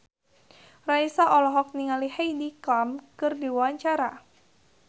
Raisa olohok ningali Heidi Klum keur diwawancara